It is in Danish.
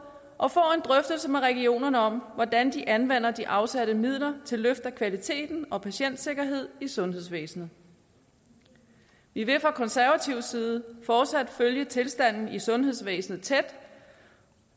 og får en drøftelse med regionerne om hvordan de anvender de afsatte midler til løft af kvalitet og patientsikkerhed i sundhedsvæsenet vi vil fra konservativ side fortsat følge tilstanden i sundhedsvæsenet tæt